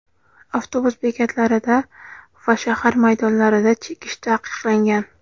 avtobus bekatlarida va shahar maydonlarida chekish taqiqlangan.